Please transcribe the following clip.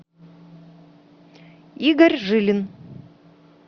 игорь жилин